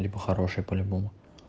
либо хороший по любому